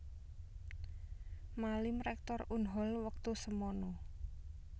Malim Rektor Unhol wektu semana